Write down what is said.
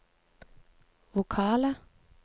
vokale